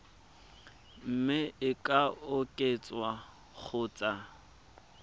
mme e ka oketswa kgotsa